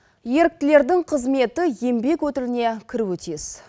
еріктілердің қызметі еңбек өтіліне кіруі тиіс